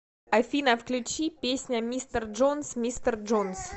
афина включи песня мистер джонс мистер джонс